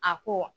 A ko